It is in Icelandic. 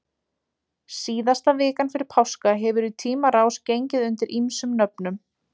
Síðasta vikan fyrir páska hefur í tímans rás gengið undir ýmsum nöfnum.